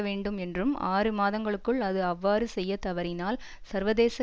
வேண்டும் என்றும் ஆறு மாதங்களுக்குள் அது அவ்வாறு செய்ய தவறினால் சர்வதேச